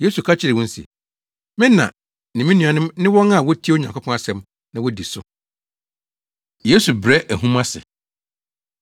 Yesu ka kyerɛɛ wɔn se, “Me na ne me nuanom ne wɔn a wotie Onyankopɔn asɛm na wodi so.” Yesu Brɛ Ahum Ase